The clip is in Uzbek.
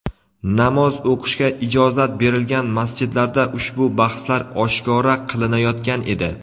Namoz o‘qishga ijozat berilgan masjidlarda ushbu bahslar oshkora qilinayotgan edi.